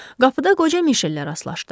Qapıda qoca Mişellə rastlaşdı.